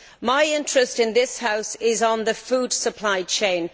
My interest in this House is in the food supply chain.